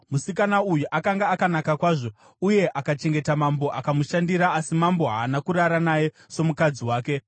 Musikana uyu akanga akanaka kwazvo; uye akachengeta mambo akamushandira, asi mambo haana kurara naye somukadzi wake.